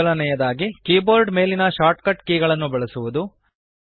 ಮೊದಲನೆಯದಾಗಿ ಕೀಬೋರ್ಡ್ ಮೇಲಿನ shortcut key ಗಳನ್ನು ಬಳಸುವದು